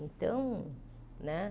Então, né?